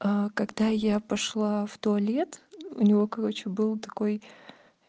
аа когда я пошла в туалет у него короче был такой